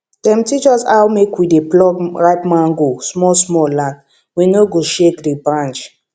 dem teach us how make we dey pluck ripe mango small smalland we no go shake the branch